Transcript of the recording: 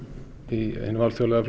í hinum alþjóðlega